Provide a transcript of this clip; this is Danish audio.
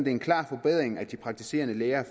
en klar forbedring at de praktiserende læger